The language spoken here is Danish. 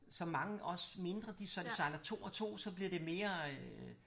Som mange også mindre de sejler 2 og 2 så bliver det mere øh